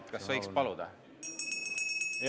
Kas võiks paluda?